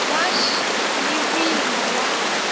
wa š le boima wa